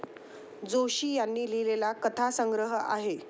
जोशी यांनी लिहिलेला कथासंग्रह आहे.